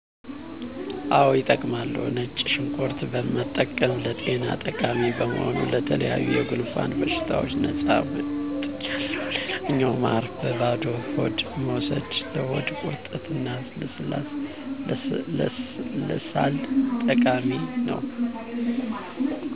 አዎ ይጠቀማሉ። ነጭ ሽንኩርት መጠቀም ለጤና ጠቃሚ በመሆኑ ለተለያዩ የጉንፋን በሽታዎች ነፃ ወጥቻለሁ ሌላኛው ማር በባዶ ሆድ መውሰድ ለሆድ ቁርጠት እና ለሳል ጠቃሚ ነው